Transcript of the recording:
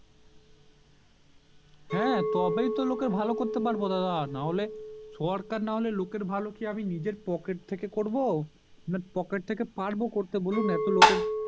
হ্যাঁ তবেই তো লোকের ভালো করতে পারবো দাদা নাহলে সরকার নাহলে লোকের ভালো কি আমি নিজের পকেটে থেকে করবো পকেট থেকে পারবো করতে বলুন এতো লোকের